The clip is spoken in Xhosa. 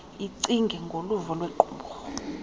icinge ngoluvo lwequmrhu